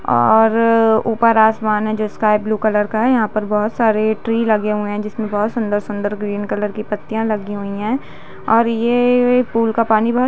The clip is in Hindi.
-- और ऊपर आसमान है जो स्काइ ब्लू कलर का है यहा पर बहोत सारे ट्री लगे हुए है जिसमे बहोत सुंदर-सुंदर ग्रीन कलर की पत्तियाँ लगी हुई है और ये पूल का पानी बहुत--